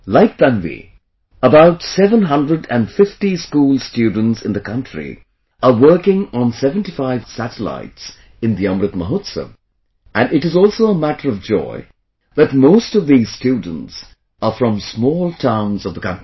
Like Tanvi, about seven hundred and fifty school students in the country are working on 75 such satellites in the Amrit Mahotsav, and it is also a matter of joy that, most of these students are from small towns of the country